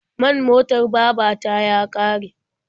Man motar baba ta ya ƙare.